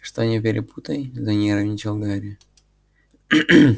что не перепутай занервничал гарри